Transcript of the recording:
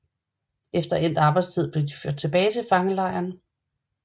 Efter endt arbejdstid blev de ført tilbage til fangelejren